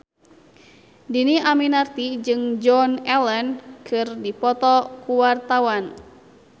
Dhini Aminarti jeung Joan Allen keur dipoto ku wartawan